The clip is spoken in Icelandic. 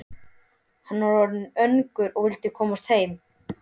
Hann var orðinn önugur og vildi komast heim.